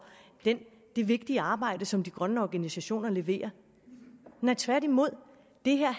det vigtige arbejde som de grønne organisationer leverer tværtimod